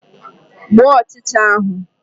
Gbuo ọchịcha ahụ!